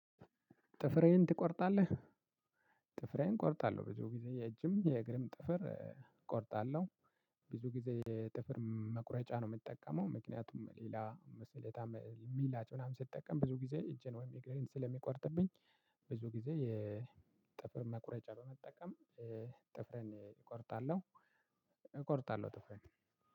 ጥፍርህን ትቆርጣለህ? ጥፍሬን እቆርጣለሁ ብዙ ጊዜ የእጅም የእግርም ጥፍር እቆርጣለሁ ብዙ ጊዜ ጥፍር መቁረጫ ነው የምጠቀመው ምክንያቱም ሌላ ስለታም ምላጭ ምናምን ስጠቀም ብዙ ጊዜ እጄን ወይም እግሬን ስለሚቆርጥብኝ ብዙ ጊዜ የጥፍር መቁረጫ ነው የምጠቀመው ጥፍሬን እቆርጣለሁ እቆርጣለሁ ጥፍሬን